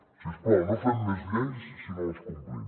si us plau no fem més lleis si no les complim